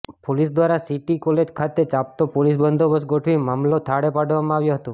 police દ્વારા city college ખાતે ચાપતો પોલીસ બંદોબસ્ત ગોઠવી મામલો થાળે પાડવામાં આવ્યો હતો